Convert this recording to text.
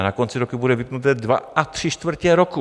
A na konci roku bude vypnutí dva a tři čtvrtě roku.